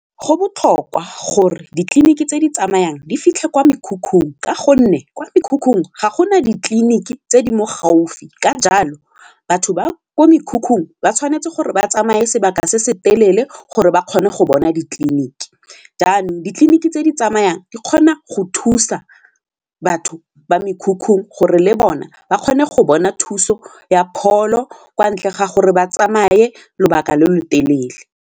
Go botlhokwa gore ditleliniki tse di tsamayang di fitlhe kwa mekhukhung ka gonne kwa mekhukhung ga gona ditleliniki tse di mo gaufi ka jalo batho ba kwa mekhukhung ba tshwanetse gore ba tsamaye sebaka se se telele gore ba kgone go bona ditleliniki, jaanong ditleliniki tse di tsamayang di kgona go thusa batho ba mekhukhu gore le bona ba kgone go bona thuso ya pholo kwa ntle ga gore ba tsamaye lobaka lo lo telele.